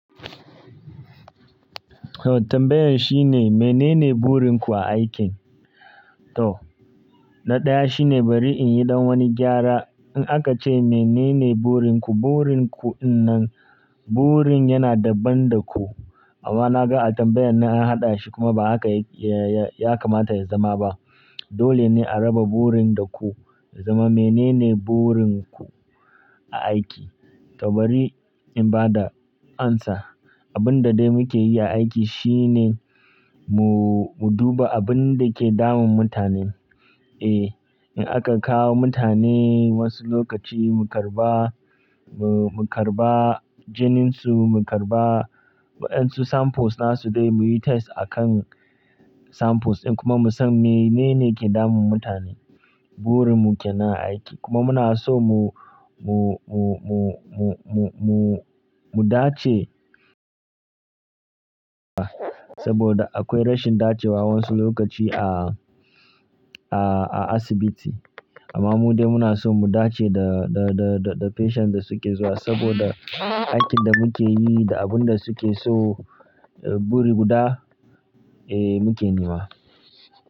Oh tambayan shine menene burin ku a aikin? To, na ɗaya shine bari in yi don wani gyara. In aka ce menene burin ku, burin ku innan, burin yana daban da ku. Amma na ga a tambayan na haɗa shi kuma ba haka ya, ya, ya kamata ya zama ba. Dole ne a raba burin da ku, zama menene burin ku a aiki. To bari in ba da amsa. Abin da dai muke yi a aiki shine mu, mu duba abun da ke damun mutanen. Eh, in aka kawo mutane wasu lokaci mu karba, mu karba jininsu, mu karba wa ƴan su samples na su dai muyi test a kan samples ɗin kuma mu san menene ke damun mutane. Burin mu ke nan a aiki kuma muna so mu, mu, mu, mu, mu, mu, mu, mu dace saboda akwai rashin dacewa wasu lokaci a, a, a asibiti. Amma mu dai muna so mu dace da, da, da, da patient da suke zuwa saboda aikin da muke yi da abun da suke so, buri guda eh muke nema.